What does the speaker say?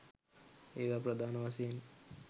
ඒවා ප්‍රධාන වශයෙන්